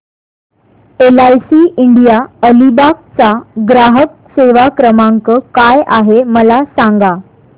LIC India Alibag चा ग्राहक सेवा क्रमांक काय आहे मला सांगा